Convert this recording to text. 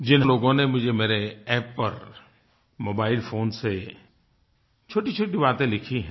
जिन हज़ारों लोगों ने मुझे मेरे App पर मोबाइल फ़ोन से छोटीछोटी बातें लिखी हैं